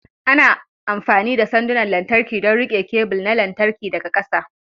Ana amfani da sandunan lantarki don riƙe kebul na lantarki daga ƙasa.